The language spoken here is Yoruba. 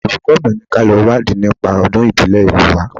Olùkọ́ mi ni kí a lọ wádìí nípa Ọdún ìbílẹ̀ ìlú wa